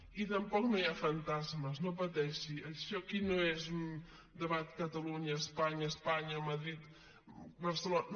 i tampoc no hi ha fantasmes no pateixi això d’aquí no és un debat catalunya espanya madrid barcelona